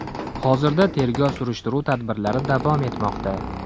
Hozirda tergov-surishtiruv tadbirlari davom etmoqda.